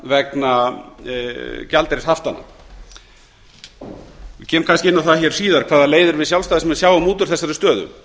vegna gjaldeyrishaftanna ég kem kannski inn á það hér síðar hvaða leiðir við sjálfstæðismenn sjáum út úr þessari stöðu